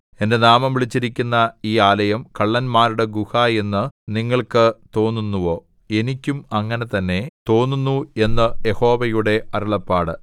എന്റെ നാമം വിളിച്ചിരിക്കുന്ന ഈ ആലയം കള്ളന്മാരുടെ ഗുഹ എന്ന് നിങ്ങൾക്ക് തോന്നുന്നുവോ എനിക്കും അങ്ങനെ തന്നെ തോന്നുന്നു എന്ന് യഹോവയുടെ അരുളപ്പാട്